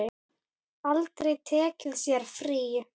Aldrei tekið sér frí.